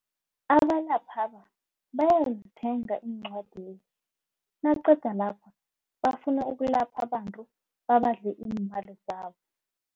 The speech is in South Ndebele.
Abalaphaba bayazithenga encwadezi naqeda lapho bafuna ukulapha abantu babadle iimali zabo.